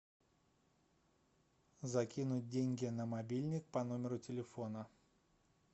закинуть деньги на мобильник по номеру телефона